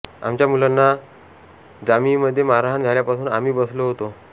आमच्या मुलांना जामियामध्ये मारहाण झाल्यापासून आम्ही बसलो होतो